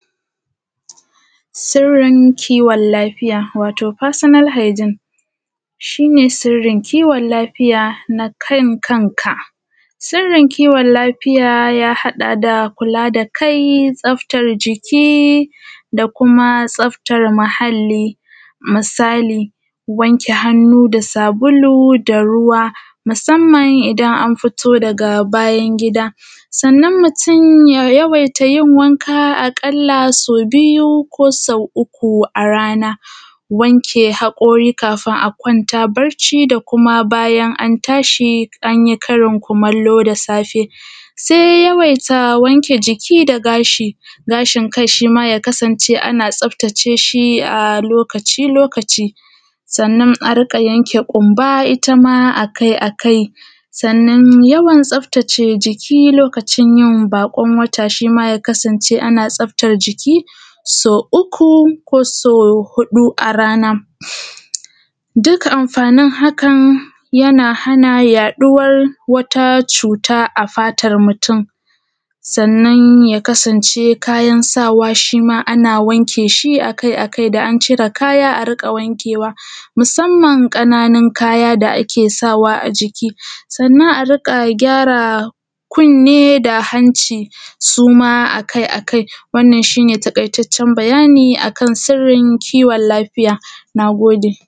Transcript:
sirrin kiwon lafiya wato fasina:l ha:gin shi ne sirrin kiwon lafiya na kan kanka, sirrin kiwon lafiya ya haɗa da ku:la da kai, tsaftar ji:ki da kuma tsaftar muhalli. Misali: wanke hannu da sabulu da ru:wa, masamman idan an fito daga bayan gida. Sannan mutum ya yawaita yin wanka a ƙalla sau biyu ko sau uku a rana. Wanke haƙo:ri kafun a ƙwanta bacci da kuma bayan an tashi an yi karin kumallo safe. Se yawaita wanke jiki da ga:shi, gashin kai shi ma ya kasance ana tsaaftaceshi a lokaci-lokaci. Sannan a riiƙa yanke ƙumba ita ma a kai-akai. Sannan yawan tsaftace jiiki, wato lokacin yin baƙon wata, shi ma ya kasance ana tsaaftar jiiki sau uku ko sau huɗu a rana. Duka amfanin hakan yana hana yaɗuwar wata cuta a fatar mutum. Sannan ya kasance shi ma kayan sawa ana wanke shi akai-akai, da an cire kaya a riƙa wankewa, masamman ƙananun kaya da ake sawa a jiki. Sannan a riƙa gyara kunne da hanci suma a kai-akai. Wannan shi ne taƙaitaccen bayani akan sirrin kiwon laafiya. Na gode.